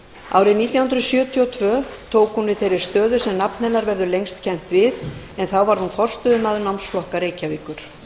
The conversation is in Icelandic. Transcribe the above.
árið nítján hundruð sjötíu og tvö tók hún við þeirri stöðu sem nafn hennar verður lengst kennt við en þá varð hún forstöðumaður námsflokka reykjavíkur